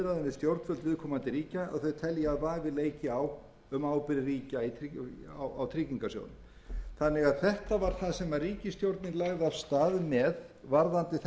stjórnvöld viðkomandi ríkja að þau telji að vafi leiki á um ábyrgð ríkja á tryggingarsjóðnum þetta var því það sem ríkisstjórnin lagði af stað með varðandi